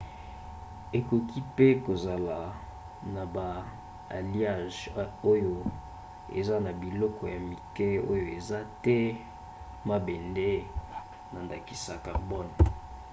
okoki mpe kozala na ba alliages oyo eza na biloko ya mike oyo eza te mabende na ndakisa carbone